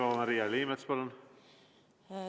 Eva-Maria Liimets, palun!